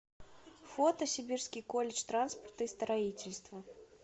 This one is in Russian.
фото сибирский колледж транспорта и строительства